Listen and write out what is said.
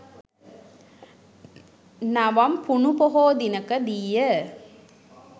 නවම් පුනු පොහෝ දිනක දීය.